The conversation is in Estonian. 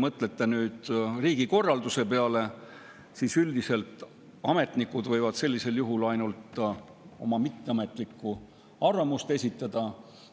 Mõelge riigikorralduse peale: üldiselt ametnikud võivad sellisel juhul ainult oma mitteametlikku arvamust esitada